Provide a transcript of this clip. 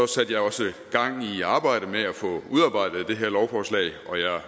satte jeg også gang i arbejdet med at få udarbejdet det her lovforslag og jeg